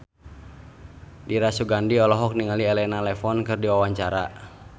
Dira Sugandi olohok ningali Elena Levon keur diwawancara